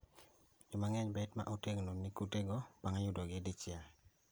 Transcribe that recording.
Joma ng'eny bet ma otegno ni kute go bang' yudo gi dichiel